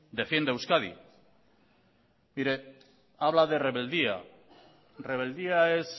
defienda a euskadi mire habla de rebeldía rebeldía es